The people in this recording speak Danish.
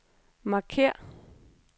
markér